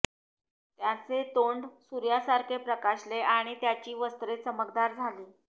त्याचे तोंड सूर्यासारखे प्रकाशले आणि त्याची वस्त्रे चमकदार झाली